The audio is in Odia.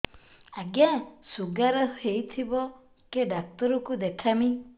ଆଜ୍ଞା ଶୁଗାର ହେଇଥିବ କେ ଡାକ୍ତର କୁ ଦେଖାମି